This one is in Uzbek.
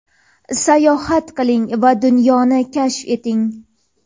sayohat qiling va dunyoni kashf eting.